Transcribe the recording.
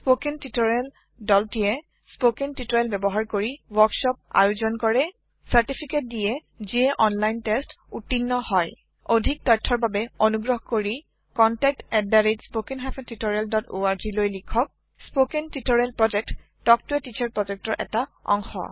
spoken tutorial দলটীয়ে spoken tutorial ব্যবহাৰ কৰি ওৱৰ্কচপ আয়োজন কৰে চাৰ্টিফিকেত দিয়ে যিয়ে অনলাইন টেষ্ট উত্তীৰ্ণ হয় অধিক জানিবৰ বাবে অনুগ্ৰহ কৰি এই ঠিকনাত contactspoken tutorialorg লিখক স্পৌকেন টিওটৰিয়েলৰ প্ৰকল্প তাল্ক ত a টিচাৰ প্ৰকল্পৰ এটা অংগ